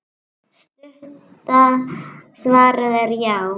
Stutta svarið er já!